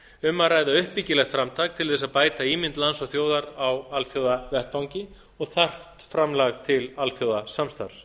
um að ræða uppbyggilegt framtak til þess að bæta ímynd lands og þjóðar á alþjóðavettvangi og þarft framlag til alþjóðasamstarfs